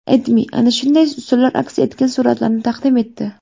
AdMe ana shunday usullar aks etgan suratlarni taqdim etdi .